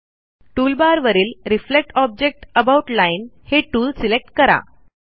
टूलबारवरील reflect object about line हे tool select करा